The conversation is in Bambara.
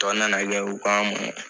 Tɔ nana kɛ u k'an mɔ